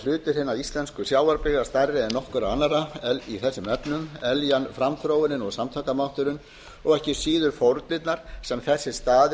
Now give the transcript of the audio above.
hlutur hinna íslensku sjávarbyggða stærri en nokkurra annarra í þessum efnum eljan framþróunin og samtakamátturinn en ekki síður fórnirnar sem þessir staðir